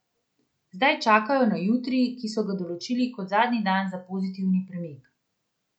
Zdaj čakajo na jutri, ki so ga določili kot zadnji dan za pozitivni premik.